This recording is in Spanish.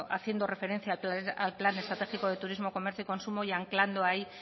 haciendo referencia al plan estratégico de turismo comercio y consumo y anclando ahí